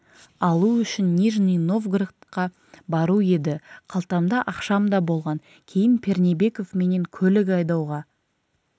алу үшін нижний новгородқа бару еді қалтамда ақшам да болған кейін пернебеков менен көлік айдауға